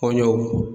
Kɔɲɔ